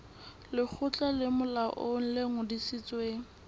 lekgotla le molaong le ngodisitsweng